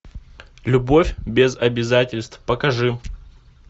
любовь без обязательств покажи